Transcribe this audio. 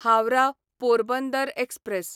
Howrah Porbandar express